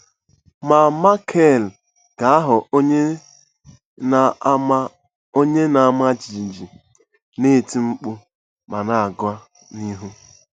Ma Maịkel ga-aghọ onye na-ama onye na-ama jijiji, na-eti mkpu ma na-aga n'ihu.